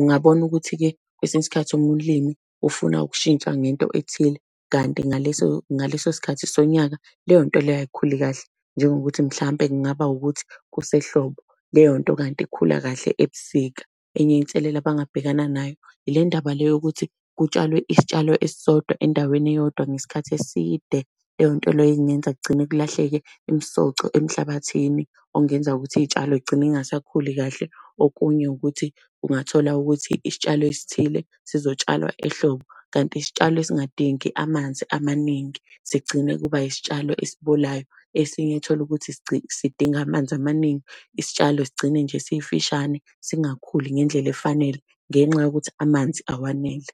ungabona ukuthi-ke kwesinye isikhathi umlimi ufuna ukushintsha ngento ethile, kanti ngaleso ngaleso sikhathi sonyaka leyonto leyo ayikhuli kahle. Njengokuthi mhlampe kungaba ukuthi kusehlobo, leyo nto kanti ikhula kahle ebusika. Enye inselela abangabhekana nayo ile ndaba yokuthi kutshalwe isitshalo esisodwa endaweni eyodwa, ngesikhathi eside. Leyo nto leyo ingenza kugcine kulahleke imisoco emhlabathini, okungenza ukuthi iy'tshalo zigcine zingasakhuli kahle. Okunye ukuthi ungathola ukuthi isitshalo esithile sizotshalwa ehlobo, kanti isitshalo esingadingi amanzi amaningi, sigcine kuba isitshalo esibolayo. Esinye uthole ukuthi sidinga amanzi amaningi. Isitshalo sigcine nje sifishane, singakhuli ngendlela efanele, ngenxa yokuthi amanzi awanele.